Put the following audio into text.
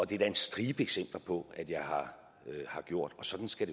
det er der en stribe eksempler på at jeg har gjort og sådan skal